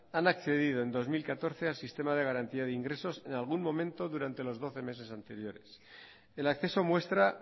han accedido en dos mil catorce al sistema de garantía de ingresos en algún momento durante los doce meses anteriores el acceso muestra